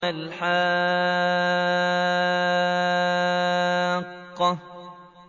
مَا الْحَاقَّةُ